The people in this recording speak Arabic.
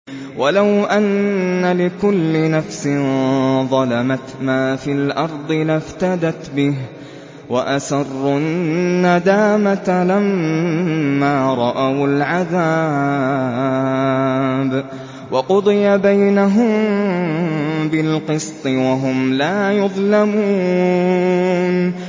وَلَوْ أَنَّ لِكُلِّ نَفْسٍ ظَلَمَتْ مَا فِي الْأَرْضِ لَافْتَدَتْ بِهِ ۗ وَأَسَرُّوا النَّدَامَةَ لَمَّا رَأَوُا الْعَذَابَ ۖ وَقُضِيَ بَيْنَهُم بِالْقِسْطِ ۚ وَهُمْ لَا يُظْلَمُونَ